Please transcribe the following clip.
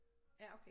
Ja okay